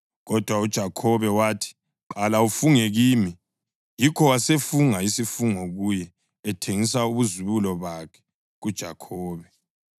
Kodwa uJakhobe wathi, “Qala ufunge kimi.” Yikho wasefunga isifungo kuye, ethengisa ubuzibulo bakhe kuJakhobe.